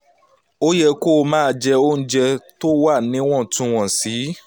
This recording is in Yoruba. ó yẹ kó o máa jẹ oúnjẹ tó wà níwọ̀ntúnwọ̀nsì